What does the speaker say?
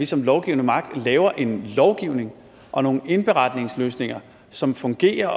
som lovgivende magt laver en lovgivning og nogle indberetningsløsninger som fungerer